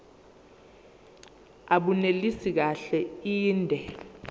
abunelisi kahle inde